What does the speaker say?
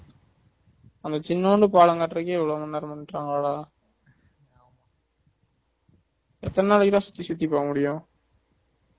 அந்த சினூண்டு பாலம் கட்டுறதுக்கே இவளோ நாள் பண்ணிடன்களா டா எத்தன நாளைக்கு டா சுத்தி சுத்தி போக முடியும்